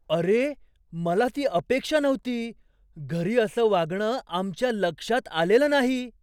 अरे, मला ती अपेक्षा नव्हती. घरी असं वागणं आमच्या लक्षात आलेलं नाही.